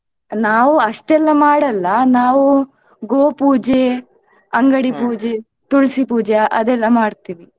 ನಾವು ಅಷ್ಟೆಲ್ಲಾ ಮಾಡಲ್ಲ ನಾವು ಗೋಪೂಜೆ, ಅಂಗಡಿ ಪೂಜೆ, ತುಳ್ಸಿ ಪೂಜೆ ಅದೆಲ್ಲಾ ಮಾಡ್ತಿವಿ.